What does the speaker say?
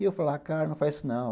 E eu falava, cara, não faz isso não.